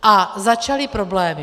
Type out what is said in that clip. A začaly problémy.